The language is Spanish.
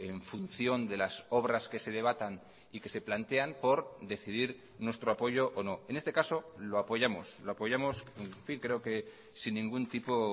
en función de las obras que se debatan y que se plantean por decidir nuestro apoyo o no en este caso lo apoyamos lo apoyamos creo que sin ningún tipo